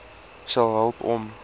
sal help om